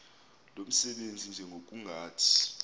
lo msebenzi njengokungathi